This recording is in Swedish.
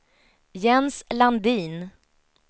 Jens Landin